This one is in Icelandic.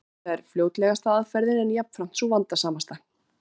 Þetta er fljótlegasta aðferðin, en jafnframt sú vandasamasta.